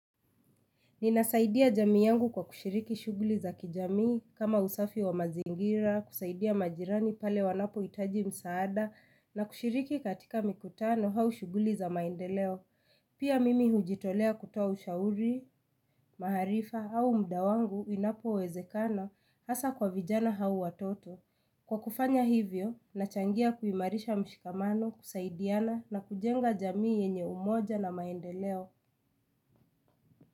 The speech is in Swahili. Ninasaidia jamii yangu kwa kushiriki shughuli za kijamii kama usafi wa mazingira, kusaidia majirani pale wanapo itaji msaada na kushiriki katika mikutano au shughuli za maendeleo. Pia mimi hujitolea kutoa ushauri, maarifa au mda wangu inapo wezekano hasa kwa vijana au watoto. Kwa kufanya hivyo, nachangia kuimarisha mshikamano, kusaidiana na kujenga jamii yenye umoja na maendeleo.